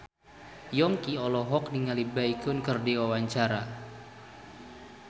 Yongki olohok ningali Baekhyun keur diwawancara